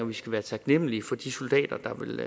vi skal være taknemlige for de soldater der vil